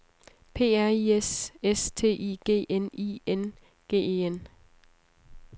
P R I S S T I G N I N G E N